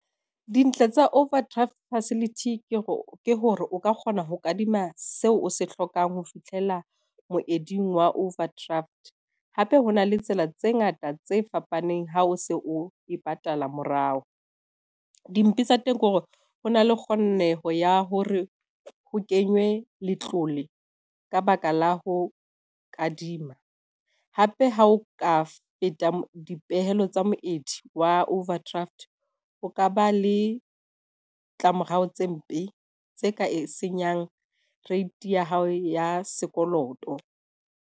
Dintle tsa overdraft facility ke hore o ka kgona ho kadima seo o se hlokang ho fihlela moeding wa overdraft. Hape ho na le tsela tse ngata tse fapaneng ha o se o e patala morao. Dimpe tsa teng ke hore ho na le kgoneho ya hore ho kenywe letlole ka baka la ho kadima. Hape ha o ka feta dipehelo tsa moedi wa overdraft, o ka ba le ditlamorao tse mpe tse ka e senyang rate ya hao ya sekoloto.